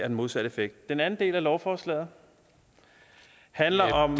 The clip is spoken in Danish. den modsatte effekt den anden del af lovforslaget handler om